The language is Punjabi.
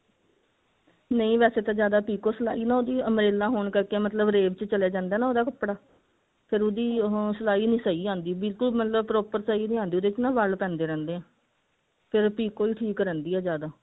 ਨਹੀਂ ਵੈਸੇ ਤਾਂ ਜਿਆਦਾ ਪਿਕੋ ਸਿਲਾਈ ਉਹਦੀ umbrella ਹੋਣ ਕਰਕੇ ਮਤਲਬ ਰੇਬ ਚ ਚੱਲ ਜਾਂਦਾ ਹੈ ਉਹਦਾ ਕੱਪੜਾ ਫਿਰ ਉਹਦੀ ਉਹ ਸਿਲਾਈ ਨਹੀ ਸਹੀ ਆਉਂਦੀ ਬਿਲਕੁੱਲ ਮਤਲਬ proper ਸਹੀ ਨਹੀਂ ਆਉਂਦੀ ਉਹਦੇ ਵਿੱਚ ਨਾ ਵਲ ਪੈਂਦੇ ਰਹਿੰਦੇ ਨੇ